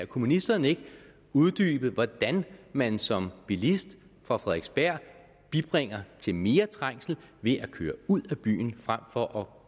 kunne ministeren ikke uddybe hvordan man som bilist fra frederiksberg bidrager til mere trængsel ved at køre ud af byen frem for